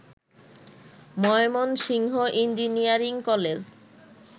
Mymensingh engineering college